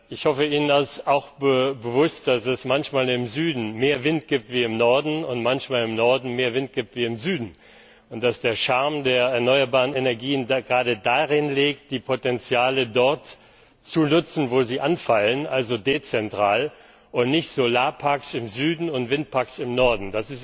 Ich hoffe, Ihnen ist auch bewusst, dass es manchmal im Süden mehr Wind gibt als im Norden und manchmal im Norden mehr Sonne als im Süden, und dass der Charme der erneuerbaren Energien gerade darin liegt, die Potenziale dort zu nutzen, wo sie anfallen, also dezentral und nicht Solarparks im Süden und Windparks im Norden.